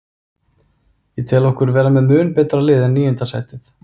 Ég tel okkur vera með mun betra lið en níunda sætið.